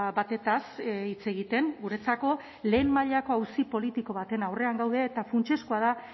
batez hitz egiten guretzako lehen mailako auzi politiko baten aurrean gaude eta funtsezkoa da